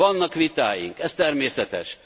Vannak vitáink, ez természetes.